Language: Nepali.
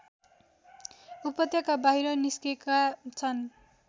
उपत्यका बाहिर निस्केका छन्